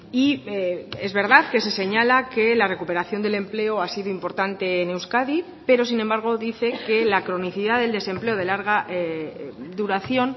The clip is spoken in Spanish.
y es verdad que se señala que la recuperación del empleo ha sido importante en euskadi pero sin embargo dice que la cronicidad del desempleo de larga duración